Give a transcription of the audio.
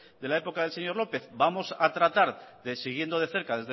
del señor lópez vamos a tratar siguiendo de cerca